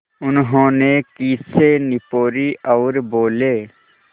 उन्होंने खीसें निपोरीं और बोले